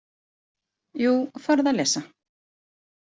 Jú, farðu að lesa.